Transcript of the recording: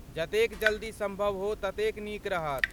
जतेक जल्दी सम्भव हो ततेक नीक रहत।